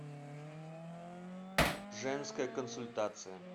женская консультация